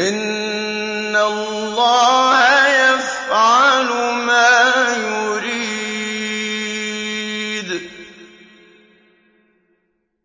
إِنَّ اللَّهَ يَفْعَلُ مَا يُرِيدُ